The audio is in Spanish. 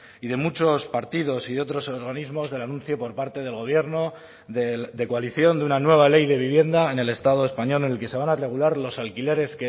y de muchos partidos y de otros organismos del anuncio por parte del gobierno de coalición de una nueva ley de vivienda en el estado español en el que se van a regular los alquileres